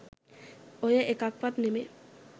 ඔය එකක්වත් නෙවෙයි